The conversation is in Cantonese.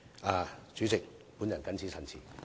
代理主席，我謹此陳辭。